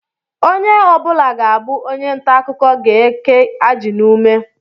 Onye ọ bụla ga-abụ onye ntaakụkọ ga-eke ajị n'ume